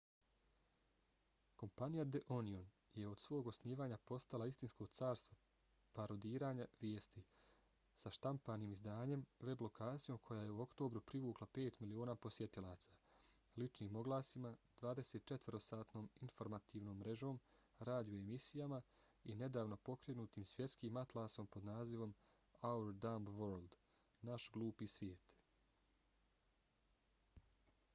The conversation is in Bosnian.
kompanija the onion je od svog osnivanja postala istinsko carstvo parodiranja vijesti sa štampanim izdanjem web lokacijom koja je u oktobru privukla 5 miliona posjetilaca ličnim oglasima 24-satnom informativnom mrežom radio emisijama i nedavno pokrenutim svjetskim atlasom pod nazivom our dumb world naš glupi svijet